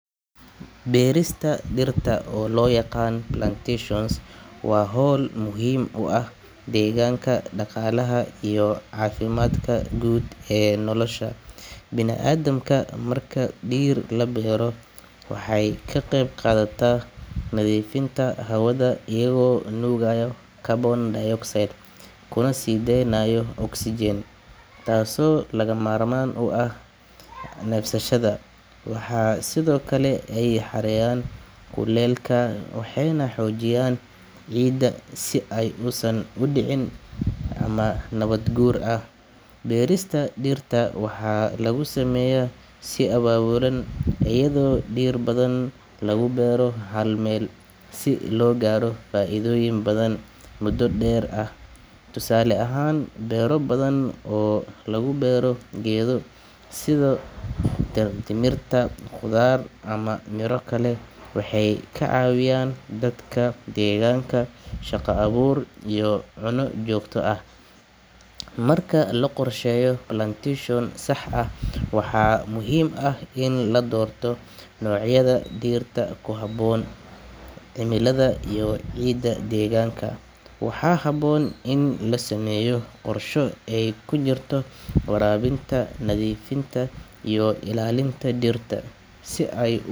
Beerista dhirta, oo loo yaqaan plantation, waa hawl muhiim u ah deegaanka, dhaqaalaha iyo caafimaadka guud ee nolosha bini’aadamka. Marka dhir la beero, waxay ka qeyb qaadataa nadiifinta hawada iyagoo nuugaya carbon dioxide kuna sii deynaya oxygen, taasoo lagama maarmaan u ah neefsashada. Waxaa sidoo kale ay yareeyaan kuleylka, waxayna xoojiyaan ciidda si aysan u dhicin daadad ama nabaad guur. Beerista dhirta waxaa lagu sameeyaa si abaabulan, iyadoo dhir badan lagu beero hal meel si loo gaaro faa’iidooyin badan muddo dheer ah. Tusaale ahaan, beero badan oo laga beero geedo sida timirta, qudaar, ama miro kale waxay ka caawiyaan dadka deegaanka shaqo abuur iyo cunno joogto ah. Marka la qorsheeyo plantation sax ah, waxaa muhiim ah in la doorto noocyada dhirta ku habboon cimilada iyo ciidda deegaanka. Waxaa habboon in la sameeyo qorshe ay ku jirto waraabinta, nadiifinta, iyo ilaalinta dhirta si ay.